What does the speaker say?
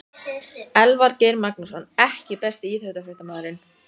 Elvar Geir Magnússon EKKI besti íþróttafréttamaðurinn?